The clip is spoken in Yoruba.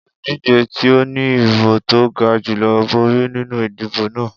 Oludije ti o ni ibo to ga julọ bori ninu idibo naa